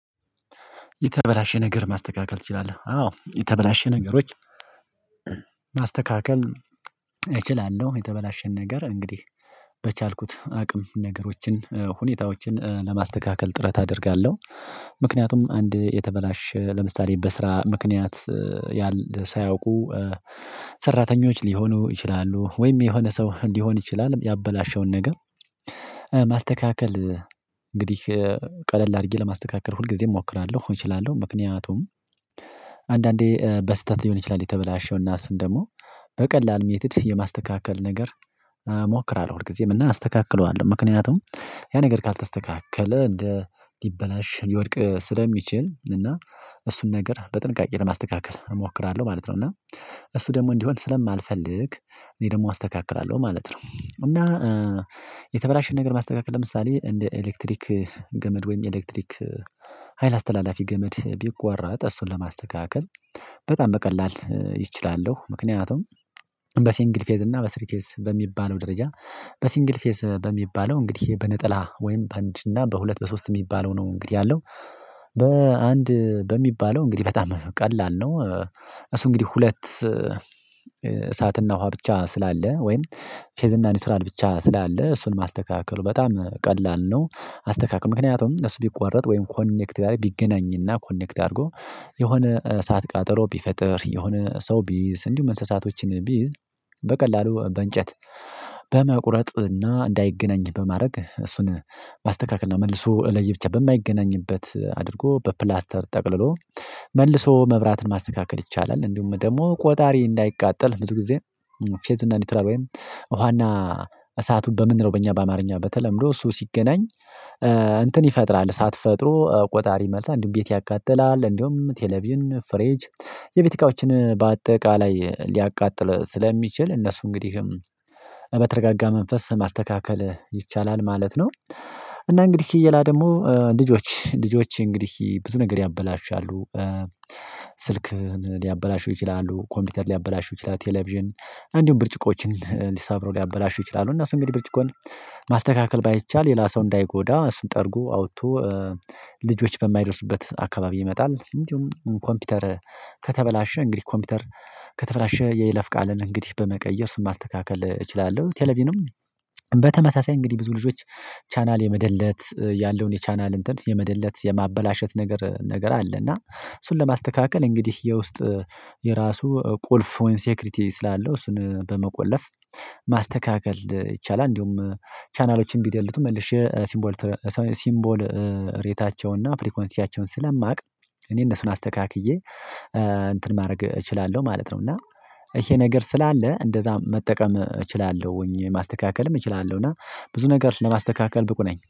የተበላሸ ነገር ማስተካከል ትችላለህ? አዎ የተበላሸ ነገሮች ማስተካከል እችላለሁ የተበላሸን ነገር እንግዲህ በቻልኩት አቅም ነገሮችን ሁኔታዎችን ለማስተካከል ጥረት አደርጋለሁ። ምክንያቱም አንድ የተበላሸ ለምሳሌ በስራ ምክንያት ያለ ሳያውቁ ሰራተኞች ሊሆኑ ይችላሉ ወይም የሆነ ሰው ሊሆን ይችላል ያበላሸውን ነገር ማስተካከል እንግዲህ ቀለል አድርጌ ለማስተካከል ሁልጊዜም እሞክራለሁ እችላለሁ። ምክንያቱም አንዳንዴ በስህተት ሊሆን ይችላል የተበላሸው እና እሱን ደግሞ በቀላሉ ሜትድ የማስተካከል ነገር እሞክራለሁ ሁልጊዜም እና አስተካክለዋለሁ ምክንያቱም ያ ነገር ካልተስተካከለ እንደ ሊበላሽ ሊወድቅ ስለሚችል እና እሱን ነገር በጥንቃቄ ለማስተካከል እሞክራለሁ ማለት ነው። እና እሱ ደግሞ እንዲሆን ስለማልፈልግ እኔ ደግሞ አስተካክላለሁ ማለት ነው። እና የተበላሸ ነገር ማስተካከል ለምሳሌ እንደ ኤሌክትሪክ ገመድ ወይም ኤሌክትሪክ ሀይል አስተላላፊ ገመድ ቢቆረጥ እሱን ለማስተካከል በጣም በቀላል ይእ እችላለሁ ምክንያቱም በሲንግል ፌዝ እና በስሪ ፌዝ በሚባለው ደረጃ በሲንግል ፌዝ በሚባለው እንግዲህ በነጠላ ወይም በአንድ እና በሁለት በሶስት የሚባለው ነው እንግዲህ ያለው በአንድ በሚባለው እንግዲህ በጣም ቀላል ነው። እሱ እንግዲህ ሁለት እሳትና ውሃ ብቻ ስላለ ወይም ፌዝና ኒውትራል ብቻ ስላለ እሱን ማስተካከል በጣም ቀላል ነው። አስተካክ ምክንያቱም እሱ ቢቆረጥ ወይም ኮኔክት ጋር ቢገናኝና ኮኔክት አድርጎ የሆነ እሳት ቃጠሎ ቢፈጥር የሆነ ሰው ቢይዝ እንዲሁም እንስሳቶችን ቢይዝ በቀላሉ በእንጨት በመቁረጥ እና እንዳይገናኝ በማድረግ እሱን ማስተካከል እና መልሶ ለየ ብቻ በማይገናኝበት አድርጎ በፕላስተር ጠቅልሎ መልሶ መብራትን ማስተካከል ይቻላል። እንዲሁም ደግሞ ቆጣሪ እንዳይቃጠል ብዙ ጊዜ ፌዝ እና ኒውትራል ወይም ውሃና እሳቱን በምንለው በእኛ በአማርኛ በተለምዶ እሱ ሲገናኝ እንትን ይፈጥራል እሳትፈጥሮ ቆጣሪ ይመልሳል እንዲሁም ቤት ያቃጥላል እንዲሁም ቴሌቪዥን ፍሬጅ የቤት እቃዎችን በአጠቃላይ ሊያቃጥል ስለሚችል እነሱ እንግዲህ በተረጋጋ መንፈስ ማስተካከል ይቻላል ማለት ነው። እና እንግዲህ ሌላ ደግሞ ልጆች ልጆች እንግዲህ ብዙ ነገር ያበላሻሉ ስልክን ሊያበላሹ ይችላሉ ኮምፒውተር ሊያበላሹ ይችላሉ ቴሌቪዥን እንዲሁም ብርጭቆችን ሰብረው ሊያበላሹ ይችላሉ። እ ነሱ እንግዲህ ብርጭቆን ማስተካከል ባይቻል ሌላ ሰው እንዳይጎዳ እሱን ጠርጎ አውጥቶ ልጆች በማይደርሱበት አካባቢ መጣል እንዲሁም ኮምፒውተር ከተበላሸ እንግዲህ ኮምፒውተር ከተበላሸ የይለፍ ቃልን እንግዲህ በመቀየር እሱንማስተካከል እችላለሁ። ቴሌቪዥንም በተመሳሳይ እንግዲህ ብዙ ልጆች ቻናል የመደለት ያለውን የቻናል እንትን የመደለት የማበላሸት ነገር ነገር አለ እና እሱን ለማስተካከል እንግዲህ የውስጥ የራሱ ቁልፍ ወይም ሴክሪቲ ስላለው እሱን በመቆለፍ ማስተካከል ይቻላል። እንዲሁም ቻናሎችን ቢደልቱ መልሽ የሲምቦል ሲምቦል ሬታቸውን እና ፍሪኮንሲያቸውን ስለማውቅ እኔ እነሱን አስተካክዬ እንትን ማድረግ እችላለሁ ማለት ነው። እና ይሄ ነገር ስላለ እንደዛ መጠቀም እችላለሁኝ ማስተካከልም እችላለሁ እና ብዙ ነገር ለማስተካከል ብቁ ነኝ